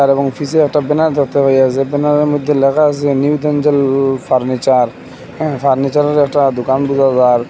এবং একটা ব্যানার দেখতে পাইয়াসি ব্যানারের মদ্যে ল্যাখা আসে নিউ দেনজেল ফার্নিচার হ্যাঁ ফার্নিচারের একটা দুকান বুঝা জার ।